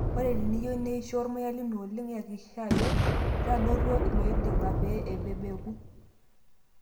Ore teniyieu neisho ormuya lino oleng iyakikisha Ajo, itadotuo ilooiding'a pee ebebeku.